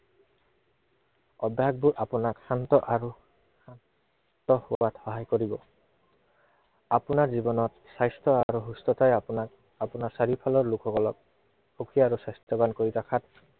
অভ্য়াসবোৰ আপোনাক শান্ত আৰু শান্ত হোৱাত সহায় কৰিব। আপোনাৰ জীৱনত স্বাস্থ্য় আৰু সুস্থতাই আপোনাক আৰু আপোনাৰ চাৰিওফালৰ লোক সকলক, সুখী আৰু স্বাস্থ্য়ৱান কৰি ৰখাত